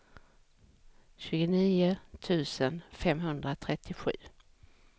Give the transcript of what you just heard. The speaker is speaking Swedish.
tjugonio tusen femhundratrettiosju